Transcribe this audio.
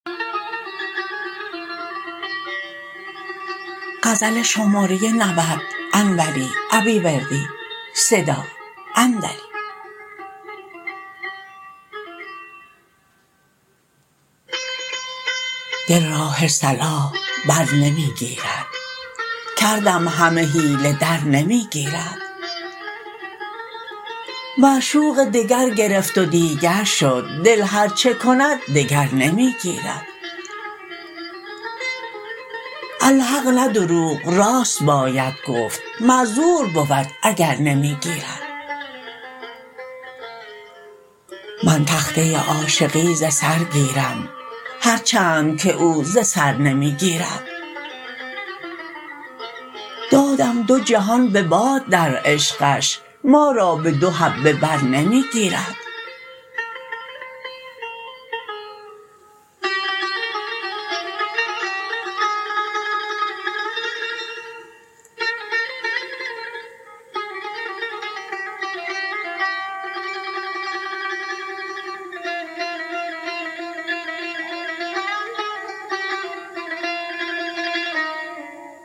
دل راه صلاح برنمی گیرد کردم همه حیله درنمی گیرد معشوقه دگر گرفت و دیگر شد دل هرچه کند دگر نمی گیرد الحق نه دروغ راست باید گفت معذور بود اگر نمی گیرد من تخته عاشقی ز سر گیرم هرچند که او ز سر نمی گیرد دادم دو جهان به باد در عشقش ما را به دو حبه برنمی گیرد